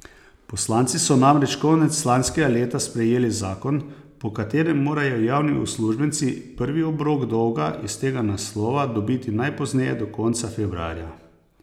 Poslanci so namreč konec lanskega leta sprejeli zakon, po katerem morajo javni uslužbenci prvi obrok dolga iz tega naslova dobiti najpozneje do konca februarja.